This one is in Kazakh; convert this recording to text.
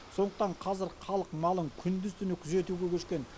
сондықтан қазір халық малын күндіз түні күзетуге көшкен